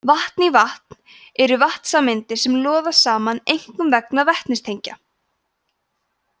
vatn í vatn eru vatnssameindir sem loða saman einkum vegna vetnistengja